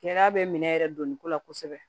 Kɛlɛya bɛ minɛ yɛrɛ donni ko la kosɛbɛ